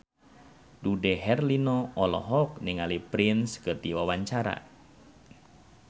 Dude Herlino olohok ningali Prince keur diwawancara